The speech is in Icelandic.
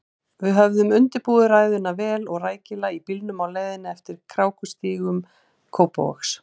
Við höfðum undirbúið ræðuna vel og rækilega í bílnum á leiðinni eftir krákustígum Kópavogs.